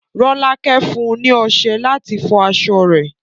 Rolake fún un ní ọsẹ láti fọ aṣọ rẹ̀